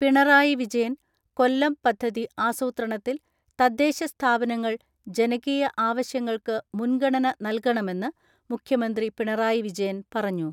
പിണറായി വിജയൻ, കൊല്ലം പദ്ധതി ആസൂത്രണത്തിൽ തദ്ദേശസ്ഥാപനങ്ങൾ ജനകീയ ആവശ്യങ്ങൾക്ക് മുൻഗണന നൽകണമെന്ന് മുഖ്യമന്ത്രി പിണറായി വിജയൻ പറഞ്ഞു.